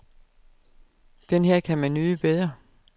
Den her kan man nyde bedre.